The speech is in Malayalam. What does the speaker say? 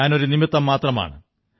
ഞാനൊരു നിമിത്തം മാത്രമാണ്